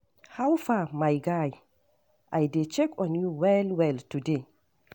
How far, my guy? I dey check on you well well today.